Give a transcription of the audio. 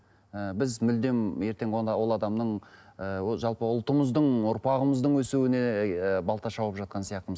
і біз мүлдем ертең ол адамның ы жалпы ұлтымыздың ұрпағымыздың өсуіне ы балта шауып жатқан сияқтымыз